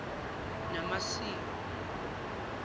namasiko